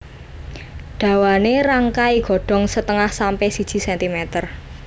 Dawané rangkai Godhong setengah sampe siji sentimer